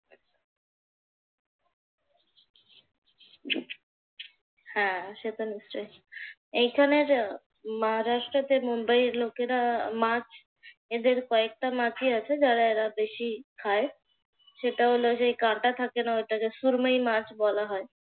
হ্যাঁ সে তো নিশ্চয়ই। এইখানে যা মহারাষ্ট্রতে মুম্বাইয়ের লোকেরা মাছ এদের কয়েকটা মাছই আছে যারা এরা বেশি খায়। সেটা হলো যে কাঁটা থাকে না ওটাকে সুরমাই মাছ বলা হয়।